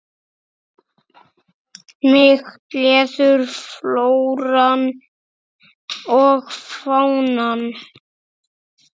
Mig gleður flóran og fánan.